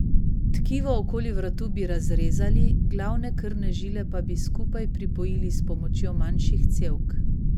Tkivo okoli vratu bi razrezali, glavne krvne žile pa bi skupaj pripojili s pomočjo manjših cevk.